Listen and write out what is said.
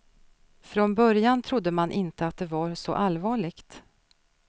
Från början trodde man inte det var så allvarligt.